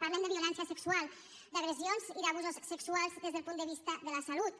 parlem de violència sexual d’agressions i d’abusos sexuals des del punt de vista de la salut